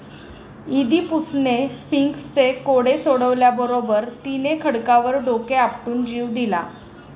इदीपुसणे स्फिंक्सचे कोडे सोडवल्याबरोबर तिने खडकावर डोके आपटून जीव दिला.